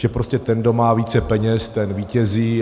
Že prostě ten, kdo má více peněz, ten vítězí.